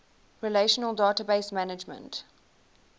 relational database management